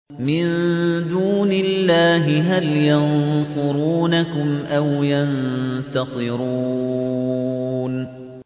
مِن دُونِ اللَّهِ هَلْ يَنصُرُونَكُمْ أَوْ يَنتَصِرُونَ